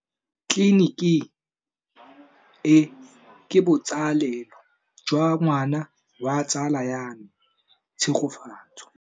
Tleliniki e, ke botsalêlô jwa ngwana wa tsala ya me Tshegofatso.